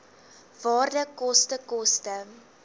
waarde koste koste